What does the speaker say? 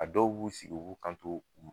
A dɔw b'u sigi u b'u kanto u